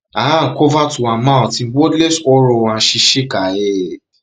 her her hand cover to her mouth in wordless horror and she shake her head